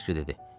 Suraxanski dedi: